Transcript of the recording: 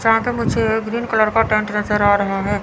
जहां पे मुझे ग्रीन कलर का टेंट नजर आ रहा है।